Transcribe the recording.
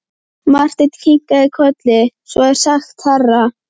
Marteinn kinkaði kolli: Svo er sagt herra.